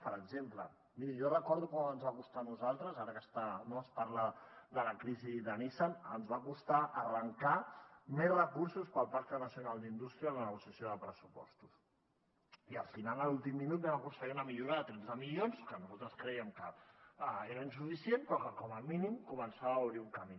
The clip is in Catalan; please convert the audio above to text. per exemple miri jo recordo com ens va costar a nosaltres ara que es parla no de la crisi de nissan arrencar més recursos per al pacte nacional per a la indústria en la negociació de pressupostos i al final a l’últim minut vam aconseguir una millora de tretze milions que nosaltres crèiem que era insuficient però que com a mínim començava a obrir un camí